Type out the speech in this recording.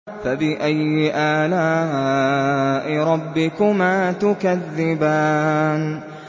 فَبِأَيِّ آلَاءِ رَبِّكُمَا تُكَذِّبَانِ